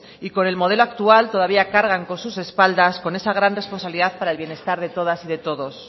y con el modelo actual todavía cargan con sus espaldas con esa gran responsabilidad para el bienestar de todas y de todos